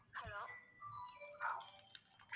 Hello